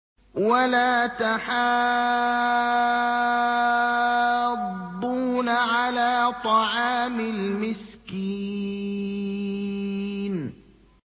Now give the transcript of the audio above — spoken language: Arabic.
وَلَا تَحَاضُّونَ عَلَىٰ طَعَامِ الْمِسْكِينِ